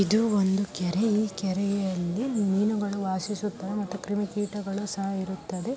ಇದು ಒಂದೂ ಕೆರೆ ಈ ಕೆರೆಯಲ್ಲಿ ಮೀನುಗಳು ವಾಶಿಸುತ್ತವೆ ಮತ್ತು ಕ್ರಿಮಿ ಕೀಟಗಳೂ ಸಹ ಇರುತ್ತದೆ.